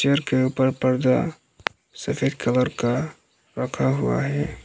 Chair के ऊपर पर्दा सफेद कलर का रखा हुआ है।